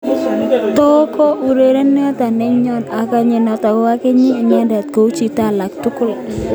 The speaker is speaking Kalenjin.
Toko urerenindet nenyon, akanyit noto ak akanyit inendet kou chito alak tugul.